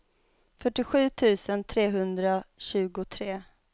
fyrtiosju tusen trehundratjugotre